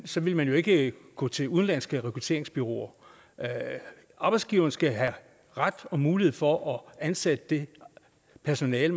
så ville man jo ikke gå til udenlandske rekrutteringsbureauer arbejdsgiverne skal have ret til og mulighed for at ansætte det personale